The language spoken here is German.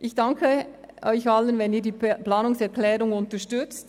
Ich danke Ihnen, wenn Sie die Planungserklärung unterstützen.